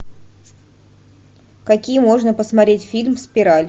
какие можно посмотреть фильм спираль